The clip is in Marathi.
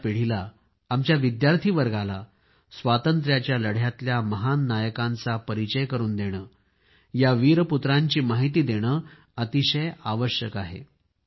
आजच्या पिढीला आमच्या विद्यार्थी वर्गाला स्वातंत्र्याच्या लढ्यातल्या महान नायकांच्या परिचय करून देणे या वीरपुत्रांची माहिती देणे अतिशय आवश्यक आहे